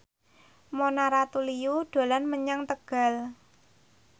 Mona Ratuliu dolan menyang Tegal